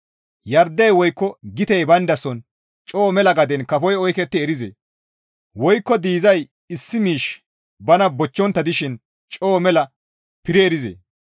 Yardey woykko gitey bayndason coo mela gaden kafoy oyketti erizee? Woykko diizay issi miishshi bana bochchontta dishin coo mela piri erizee?